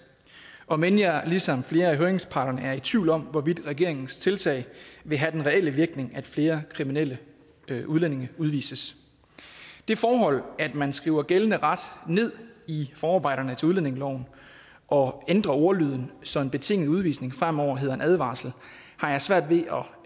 om end jeg ligesom flere af høringsparterne er i tvivl om hvorvidt regeringens tiltag vil have den reelle virkning altså at flere kriminelle udlændinge udvises det forhold at man skriver gældende ret ned i forarbejderne til udlændingeloven og ændrer ordlyden så en betinget udvisning fremover hedder en advarsel har jeg svært ved